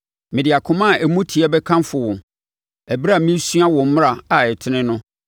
Mede akoma a emu teɛ bɛkamfo wo ɛberɛ a meresua wo mmara a ɛtene no.